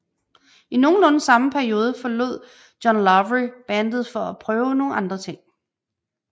I nogenlunde samme periode forlod John Lawry bandet for at prøve nogle andre ting